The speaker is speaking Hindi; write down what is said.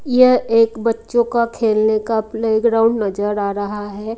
यह एक बच्चों का खेलने का प्लेग्राउंड नजर आ रहा है।